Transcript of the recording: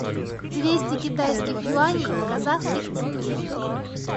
двести китайских юаней в казахских тенге